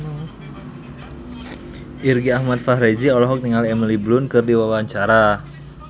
Irgi Ahmad Fahrezi olohok ningali Emily Blunt keur diwawancara